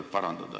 Teie aeg ...